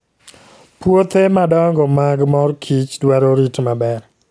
Puothe madongo mag mor kich dwaro rit maber.